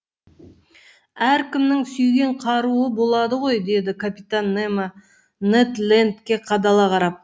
әркімнің сүйген қаруы болады ғой деді капитан немо нед лендке қадала қарап